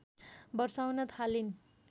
बर्साउन थालिन्